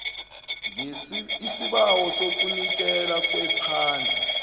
isibawo sokunikelwa kwephandle